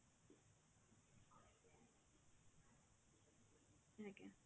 ଆଜ୍ଞା